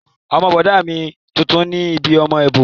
Ọmọ bọ̀dá mi funfun ni bíi ọmọ èbó